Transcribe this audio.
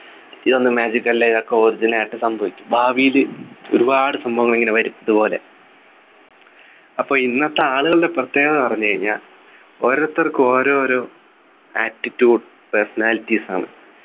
ഇതൊന്നും magic അല്ല ഇതൊക്കെ Original ആയിട്ട് സംഭവിക്കും ഭാവിയിൽ ഒരുപാട് സംഭവങ്ങൾ ഇങ്ങനെ വരും ഇതുപോലെ അപ്പൊ ഇന്നത്തെ ആളുകളുടെ പ്രത്യേകത പറഞ്ഞു കഴിഞ്ഞാൽ ഓരോരുത്തർക്കും ഓരോരോ atitude personalities ആണ്